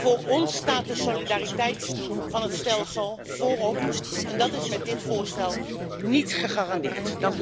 Voor ons staat de solidariteit van het stelsel voorop en dat is met dit voorstel niet gegarandeerd.